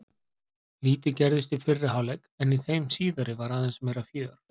Lítið gerðist í fyrri hálfleik en í þeim síðari var aðeins meira fjör.